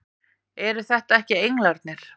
Eru þetta ekki englarnir!